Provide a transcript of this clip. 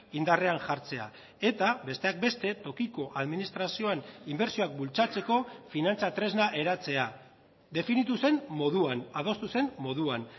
indarrean jartzea eta besteak beste tokiko administrazioen inbertsioak bultzatzeko finantza tresna eratzea definitu zen moduan adostu zen moduan